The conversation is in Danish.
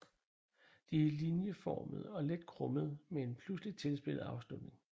De er linjeformede og let krummede med en pludseligt tilspidset afslutning